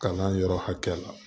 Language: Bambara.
Kalan yɔrɔ hakɛ la